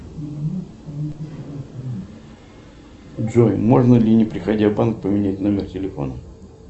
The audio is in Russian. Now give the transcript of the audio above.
джой можно ли не приходя в банк поменять номер телефона